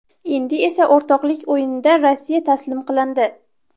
Endi esa o‘rtoqlik o‘yinida Rossiya taslim qilindi.